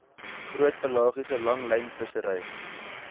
groot pelagiese langlynvissery